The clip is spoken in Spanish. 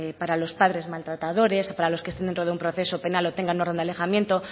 para los padres maltratadores o para los que estén dentro de un proceso penal o tengan orden de alejamiento